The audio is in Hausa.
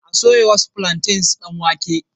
A soya wasu plantains don wake.